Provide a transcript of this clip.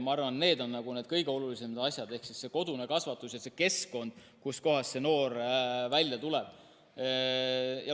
Ma arvan, et need on kõige olulisemad asjad: kodune kasvatus ja keskkond, kus noor elab.